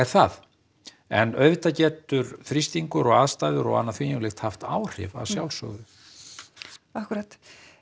það en auðvitað getur þrýstingur og aðstæður og annað slíkt haft áhrif að sjálfsögðu akkúrat